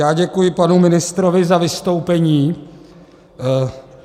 Já děkuji panu ministrovi za vystoupení.